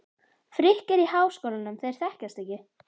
Frikki er í Háskólanum, þeir þekkjast ekki.